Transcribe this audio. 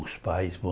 Os pais